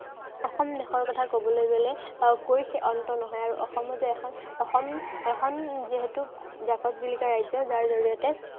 অসম দেশৰ কথা কবলৈ গলে আহ কৈ অন্ত নহয় আৰু অসমো যে এখন অসম এখন যিহেতু জাকত জিলিকা ৰাজ্য়। যাৰ জড়িয়তে